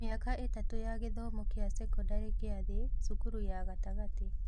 Mĩaka ĩtatũ ya gĩthomo kĩa sekondarĩ kĩa thĩ (cukuru ya gatagatĩ)